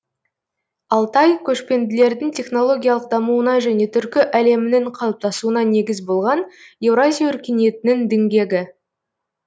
алтай көшпенділердің технологиялық дамуына және түркі әлемінің қалыптасуына негіз болған еуразия өркениетінің діңгегі